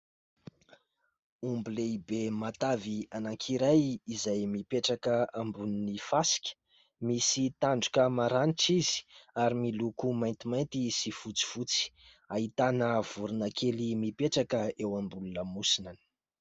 Omby lehibe matavy anankiray izay mipetraka ambony ny fasika, misy tandroka maranitra izy ary miloko maintimainty sy fotsifotsy. Ahitana vorona kely mipetraka eo ambony ny lamosina any.